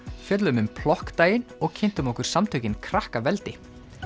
fjölluðum um plokkdaginn og kynntum okkur samtökin Krakkaveldi